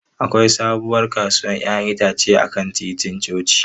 Akwai sabuwar kasuwar 'ya'yan itace a kan titin coci.